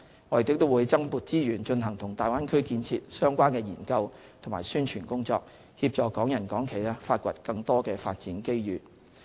我們亦會增撥資源，進行與大灣區建設相關的研究和宣傳工作，協助港人港企發掘更多發展機遇。